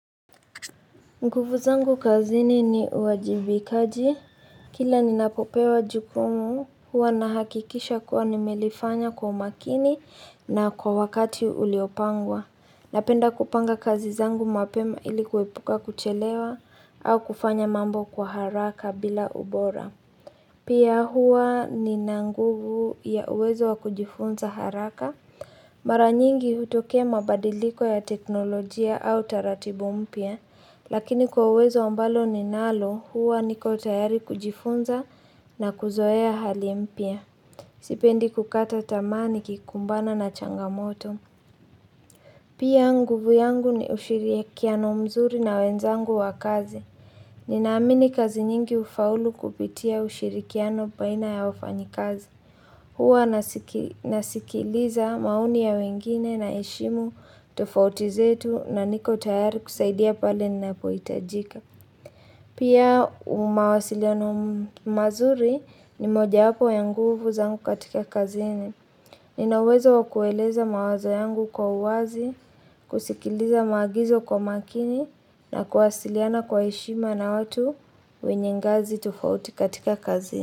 Nguvu zangu kazini ni uajibikaji. Kila ninapopewa jukumu, huwa nahakikisha kuwa nimelifanya kwa umakini na kwa wakati uliopangwa. Napenda kupanga kazi zangu mapema ili kuepuka kuchelewa au kufanya mambo kwa haraka bila ubora. Pia hua nina nguvu ya uwezo wa kujifunza haraka. Mara nyingi hutokea mabadiliko ya teknolojia au taratibu mpya, lakini kwa uwezo ambalo ninalo huwa niko tayari kujifunza na kuzoea hali mpya Sipendi kukata tamaa nikikumbana na changamoto. Pia nguvu yangu ni ushirikiano mzuri na wenzangu wa kazi. Ninaamini kazi nyingi ufaulu kupitia ushirikiano baina ya wafanyikazi. Huwa nasikiliza maoni ya wengine naheshimu tofauti zetu na niko tayari kusaidia pale ninapoitajika. Pia mawasiliano mazuri ni mojawapo ya nguvu zangu katika kazini. Nina uwezo wa kueleza mawazo yangu kwa uwazi, kusikiliza maagizo kwa makini na kuwasiliana kwa heshima na watu wenye ngazi tofauti katika kazini.